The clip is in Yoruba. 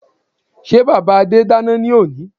Sé bàbá Adé dáná ní òní?